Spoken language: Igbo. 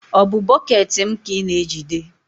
ọ bụ bọket m ka ị na-ejide?